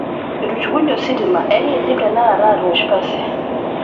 Etushukunye ositima enkindim tenakata aatosh pasi.